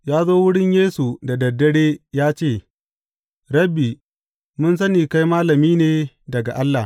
Ya zo wurin Yesu da dad dare ya ce, Rabbi, mun sani kai malami ne daga Allah.